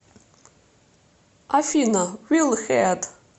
афина вилл хеад